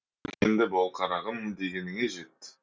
өркенді бол қарағым дегеніңе жет